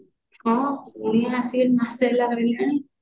ହଁ କୁଣିଆ ଆସିକି ମାସେ ହେଲା ରହିଲେଣି